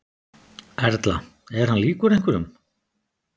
Erla: Er hann líkur einhverjum?